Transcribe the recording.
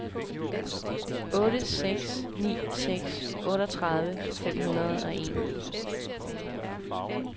otte seks ni seks otteogtredive fem hundrede og en